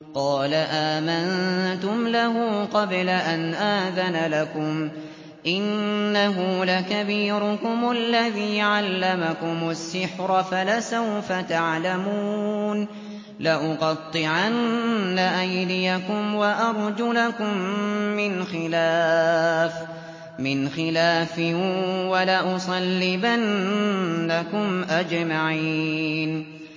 قَالَ آمَنتُمْ لَهُ قَبْلَ أَنْ آذَنَ لَكُمْ ۖ إِنَّهُ لَكَبِيرُكُمُ الَّذِي عَلَّمَكُمُ السِّحْرَ فَلَسَوْفَ تَعْلَمُونَ ۚ لَأُقَطِّعَنَّ أَيْدِيَكُمْ وَأَرْجُلَكُم مِّنْ خِلَافٍ وَلَأُصَلِّبَنَّكُمْ أَجْمَعِينَ